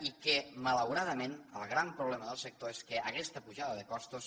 i que malauradament el gran problema del sector és que aquesta pujada de costos